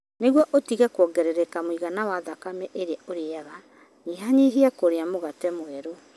Nĩguo ũtige kwongerereka mũigana wa thakame ĩrĩa ũrĩaga, nyihanyihia kũrĩa mũgate mwerũ.